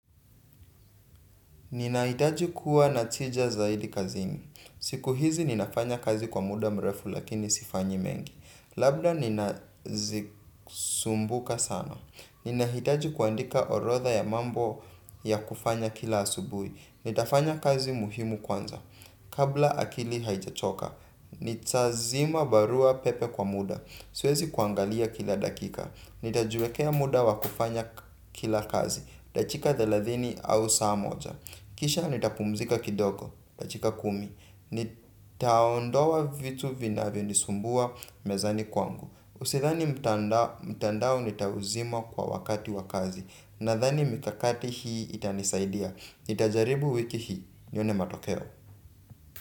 Ninahitaji kuwa na tija zaidi kazini. Siku hizi ninafanya kazi kwa muda mrefu lakini sifanyi mengi. Labda ninazisumbuka sana. Ninahitaji kuandika orotha ya mambo ya kufanya kila asubui. Nitafanya kazi muhimu kwanza. Kabla akili haijachoka, nitazima barua pepe kwa muda. Siwezi kuangalia kila dakika, nitajuekea muda wakufanya kila kazi dachika thelathini au saa moja, kisha nitapumzika kidogo, dachika kumi. Nitaondoa vitu vinavyo nisumbua mezani kwangu Usidhani mtandao nitauzima kwa wakati wakazi. Nadhani mikakati hii itanisaidia, nitajaribu wiki hii, nione matokeo.